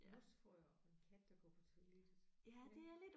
Mosfrøer og en kat der går på toilettet ja